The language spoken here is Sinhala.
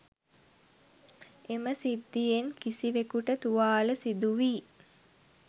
එම සිද්ධියෙන් කිසිවෙකුට තුවාල සිදුවී